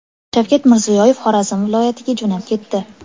Shavkat Mirziyoyev Xorazm viloyatiga jo‘nab ketdi.